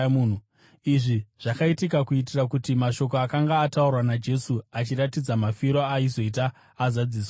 Izvi zvakaitika kuitira kuti mashoko akanga ataurwa naJesu achiratidza mafiro aaizoita azadziswe.